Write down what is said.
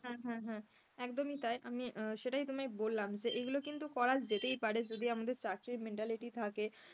হ্যাঁ হ্যাঁ একদম এটাই আমি সেটাই তোমায় বললাম এগুলো কিন্তু করা যেতেই পারে যদি আমাদের চাকরির mentality থাকে,